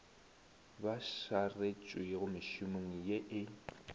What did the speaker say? ba šaretšwego mešomong ye e